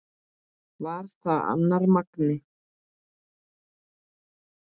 Var það annar Magni?